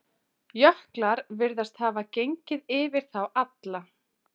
Jöklar virðast hafa gengið yfir þá alla.